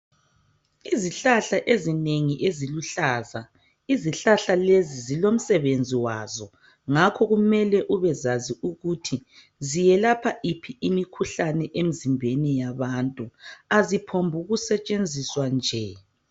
Izihlahla ezinengi eziluhlaza izihlahla lezi zilomsebenzi wazo ngakho kumele ubezazi ukuthi ziyelapha iphi imikhuhlane emzimbeni yabantu ,aziphombuku setshenziswa nje.